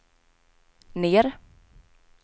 ner